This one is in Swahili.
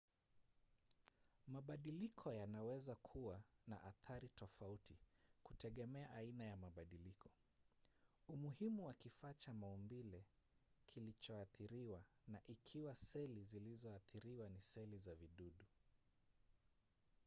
mabadiliko yanaweza kuwa na athari tofauti kutegemea aina ya mabadiliko umuhimu wa kifaa cha maumbile kilichoathiriwa na ikiwa seli zilizoathiriwa ni seli za vijidudu